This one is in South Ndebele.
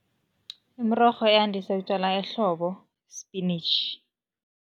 Imirorho eyandise ukutjalwa ehlobo, sipinitjhi.